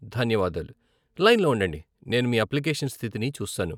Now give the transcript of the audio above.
ధన్యవాదాలు, లైన్ లో ఉండండి, నేను మీ అప్లికేషన్ స్థితిని చూస్తాను.